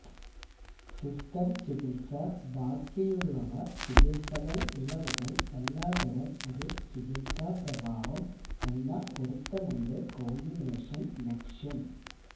system ചികിത്സ ബാക്കിയുള്ളവ ചികിത്സകൾ ഇളവുകൾ എല്ലാ തരം ഒരു ചികിത്സാ പ്രഭാവം എന്ന പൊരുത്തമുണ്ട് കോമ്പിനേഷൻ ലക്ഷ്യം